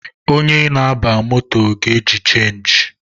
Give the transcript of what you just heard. Onye na-aba moto ga-eji chenji